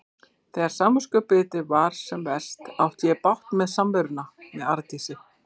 Þegar samviskubitið var sem verst átti ég bágt með samveruna við Arndísi.